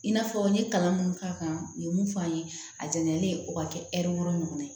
I n'a fɔ n ye kalan minnu k'a kan u ye mun f'an ye a jɛnilen o ka kɛ ɲɔgɔn ye